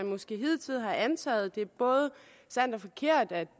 måske hidtil har antaget det er både sandt og forkert at